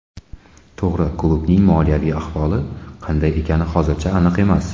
To‘g‘ri, klubning moliyaviy ahvoli qanday ekani hozircha aniq emas.